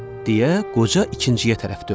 deyə qoca ikinciyə tərəf döndü.